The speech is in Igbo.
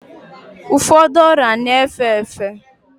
Ụfọdụ ọrịa na-efe efe